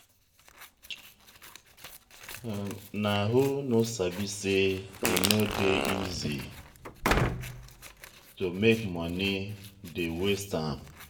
nah who no sabi sey e no dey easy to make moni dey waste am.